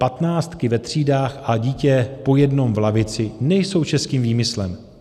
Patnáctky ve třídách a dítě po jednom v lavici nejsou českým výmyslem.